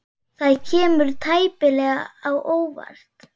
Það kemur tæplega á óvart.